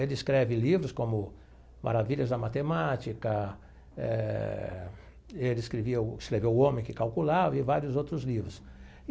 Ele escreve livros como Maravilhas da Matemática eh, ele escrevia o escreveu O Homem que Calculava e vários outros livros.